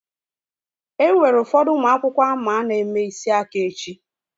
Enwere ụfọdụ ụmụ akwụkwọ ama na-eme isi aka echi.